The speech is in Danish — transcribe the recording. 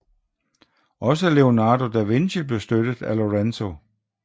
Også Leonardo da Vinci blev støttet af Lorenzo